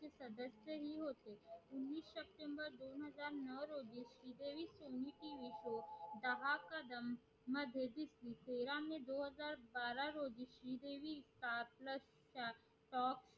दोन हजार बारा रोजी श्री देवी star plus च्या top